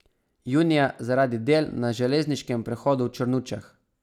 Junija zaradi del na železniškem prehodu v Črnučah.